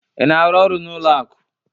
Ị na-arụ ọrụ n'ụlọ akụ?